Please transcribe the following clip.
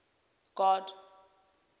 god